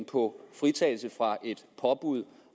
på fritagelse fra et påbud